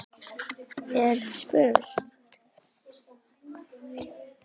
er spurt.